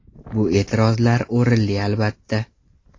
Bu e’tirozlar o‘rinli, albatta.